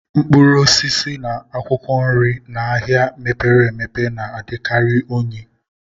Mkpụrụ osisi na akwụkwọ nri n'ahịa mepere emepe na-adịkarị unyi